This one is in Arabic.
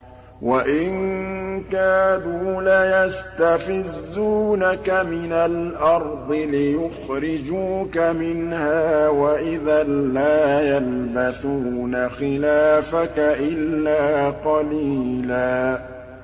وَإِن كَادُوا لَيَسْتَفِزُّونَكَ مِنَ الْأَرْضِ لِيُخْرِجُوكَ مِنْهَا ۖ وَإِذًا لَّا يَلْبَثُونَ خِلَافَكَ إِلَّا قَلِيلًا